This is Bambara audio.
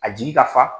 A jigi ka fa